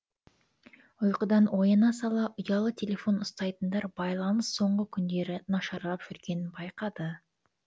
ұйқыдан ояна сала ұялы телефон ұстайтындар байланыс соңғы күндері нашарлап жүргенін байқады